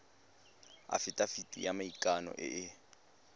afitafiti ya maikano e e